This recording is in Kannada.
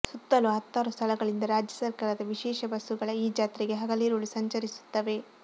ಸುತ್ತಲೂ ಹತ್ತಾರು ಸ್ಥಳಗಳಿಂದ ರಾಜ್ಯ ಸರ್ಕಾರದ ವಿಶೇಷ ಬಸ್ಸುಗಳ ಈ ಜಾತ್ರೆಗೆ ಹಗಲಿರುಳು ಸಂಚರಿಸುತ್ತವೆ